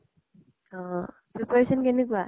অ preparation কেনেকুৱা?